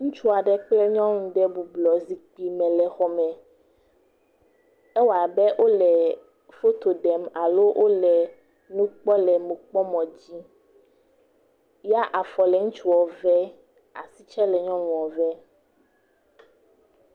Ŋutsu aɖe kple nyɔnu aɖe bɔbɔ nɔ anyi ɖe zikpui me le xɔme. Ewoa be wole foto ɖem alo wole nu kpɔm le nukpɔmɔ dzi ya afɔ le ŋutsua vem, asi tsɛ le nyɔnua vem.